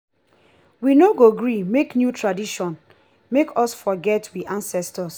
we no go gree make new tradition make us forget we ancestors.